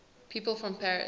people from paris